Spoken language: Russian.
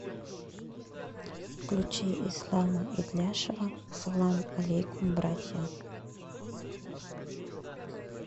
включи ислама итляшева салам алейкум братьям